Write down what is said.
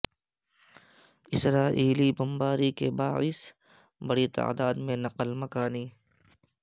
اسرائیلی بمباری کے باعث بڑی تعداد میں نقل مکانی